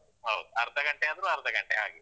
ಹೌದು. ಅರ್ಧ ಗಂಟೆಯಾದ್ರೂ ಅರ್ಧ ಗಂಟೆ ಹಾಗೆ.